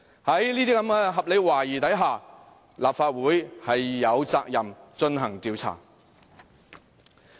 在這些合理懷疑下，立法會有責任進行調查。